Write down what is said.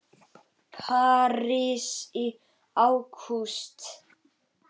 París í ágúst